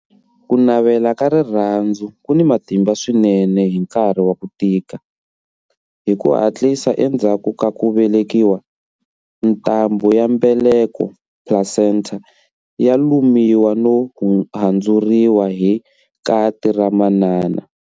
Ku navela ka rirhandzu ku ni matimba swinene hi nkarhi wa ku tika. Hi ku hatlisa endzhaku ka ku velekiwa, ntambhu ya mbeleko, placenta, ya lumiwa no handzuriwa hi kati ra manana.